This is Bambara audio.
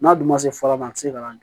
N'a dun ma se fɔlɔ a ti se ka na